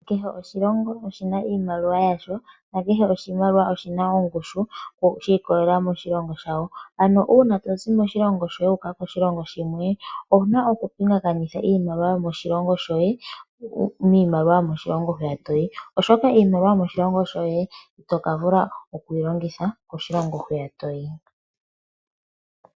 Kehe oshilongo oshina iimaliwa yasho nake oshimaliwa oshina ongushu shikolelela moshilongo shawo, ano una tozi moshilongo shoye wuka koshilongo shimwe owuna oku pingakanitha iimaliwa yomo shilongo shoye mimaliwa yomoshilongo hwiya toyi oshoka iimaliwa yomoshilongo shoye itokavula okuyi longitha koshilongo hwiya toyi.